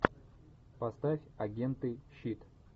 поставь агенты щит